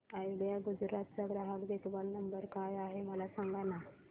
idea Gujarat चा ग्राहक देखभाल नंबर काय आहे मला सांगाना